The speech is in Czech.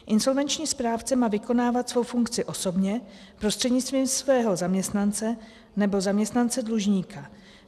Insolvenční správce má vykonávat svou funkci osobně, prostřednictvím svého zaměstnance nebo zaměstnance dlužníka.